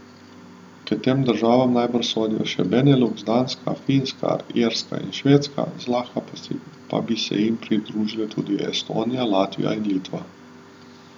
K tem državam najbrž sodijo še Beneluks, Danska, Finska, Irska in Švedska, zlahka pa bi se jim priključile tudi Estonija, Latvija in Litva.